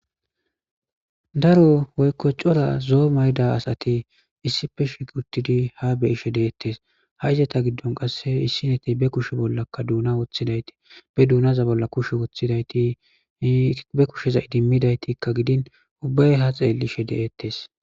daro woykko cora zo'o mayda asati issife shig uttidi ha be'ishe deettes ha izata giddon qasse issineti be kushe bollakka duuna woththidayti be duunaza bolla kushe wothidayti be kusheza idimmidaytikka gidin ubbay ha xeellishe de'ettes